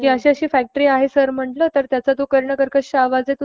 कि अशी अशी फॅक्टरी आहे सर म्हणलं त्याचा जो कर्णकर्कश आवाज आहे